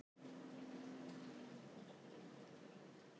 Af ásettu ráði flutti hann sig inn í þann hluta Parísar sem var honum framandi.